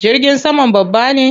Jirgin saman babba ne?